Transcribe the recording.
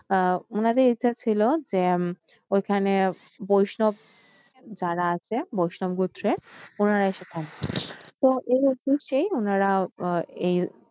ওনাদের ইচ্ছা ছিল যে উম ওইখানে বৈষ্ণব যারা আছে বৈষ্ণব গোত্রের ওনারা এসে থাকতো তো এই উদ্দেশ্যেই ওনারা এই